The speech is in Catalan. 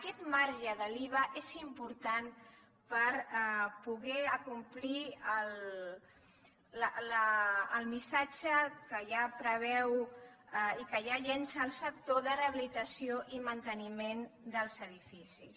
aquest marge de l’iva és important per poder acomplir el missatge que ja preveu i que ja llença el sector de rehabilitació i manteniment dels edificis